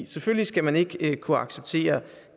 selvfølgelig skal man ikke kunne acceptere